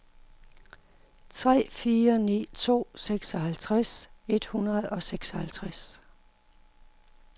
tre fire ni to seksoghalvtreds et hundrede og seksoghalvtreds